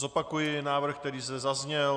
Zopakuji návrh, který zde zazněl.